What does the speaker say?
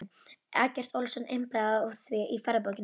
Eggert Ólafsson impraði á því í ferðabók sinni